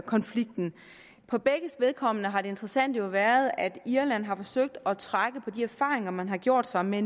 konflikten for begges vedkommende har det interessante jo været at irland har forsøgt at trække på de erfaringer man har gjort sig med